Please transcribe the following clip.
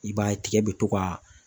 I b'a ye tigɛ bɛ to ka